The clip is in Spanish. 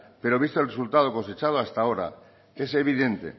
pero visto el resultado cosechado hasta ahora es evidente